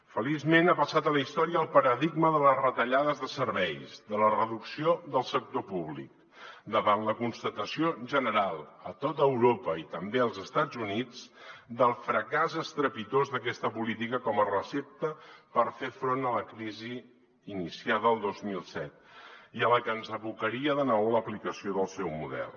feliçment ha passat a la història el paradigma de les retallades de serveis de la reducció del sector públic davant la constatació general a tot europa i també als estats units del fracàs estrepitós d’aquesta política com a recepta per fer front a la crisi iniciada el dos mil set i a la que ens abocaria de nou l’aplicació del seu model